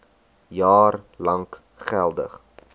jaar lank geldig